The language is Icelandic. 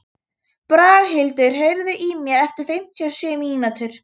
Braghildur, heyrðu í mér eftir fimmtíu og sjö mínútur.